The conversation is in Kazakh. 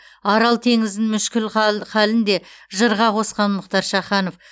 арал теңізінің мүшкіл халін де жырға қосқан мұхтар шаханов